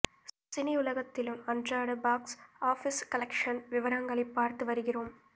சினிஉலகத்திலும் அன்றாட box office collection விவரங்களை பார்த்து வருகிறோம்